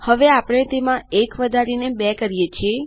હવે આપણે તેમાં ૧ વધારી ૨ કરીએ છીએ